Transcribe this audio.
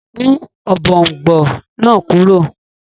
Mú ọ̀bọ̀ọ̀nbọọ̀n náà kúrò!